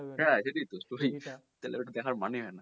হ্যা সেটাই তো শুধুই তাহলে ওটা দেখার মানেই হয় না